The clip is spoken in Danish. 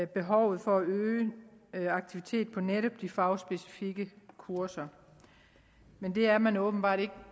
behovet for at øge øge aktiviteten på netop de fagspecifikke kurser men det er man åbenbart ikke